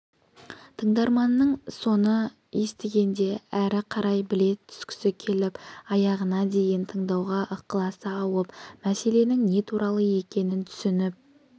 тыңдарманның соны естігенде әрі қарай біле түскісі келіп аяғына дейін тыңдауға ықыласы ауып мәселенің не туралы екенін түсініп